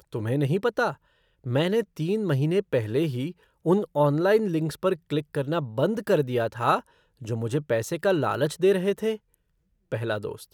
तुम्हें नहीं पता मैंने तीन महीने पहले ही उन ऑनलाइन लिंक्स पर क्लिक करना बंद कर दिया था जो मुझे पैसे का लालच दे रहे थे? पहला दोस्त